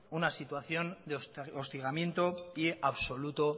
una situación de hostigamiento y absoluto